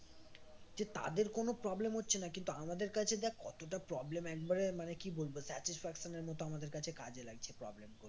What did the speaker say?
যে তাদের কোন problem হচ্ছে না কিন্তু আমাদের কাছে দেখ কতটা problem একবারে মানে কি বলবো satisfaction এর মত আমাদের কাছে কাজে লাগছে problem গুলো